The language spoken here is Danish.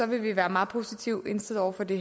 vi være meget positive indstillet over for det